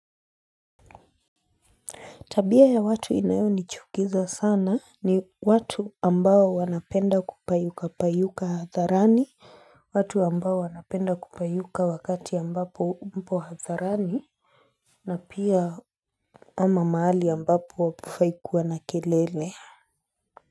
Tabia ya watu inayonichukiza sana ni watu ambao wanapenda kupayuka payuka hadharani, watu ambao wanapenda kupayuka wakati ambapo mpo hadharani, na pia ama mahali ambapo hapafai kuwa na kelele.